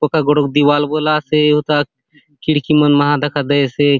पक्का गोटोक दीवार बले आसे हुथा खिड़की मन मा दखा दयेसे ।